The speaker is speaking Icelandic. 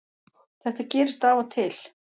Þetta gerist af og til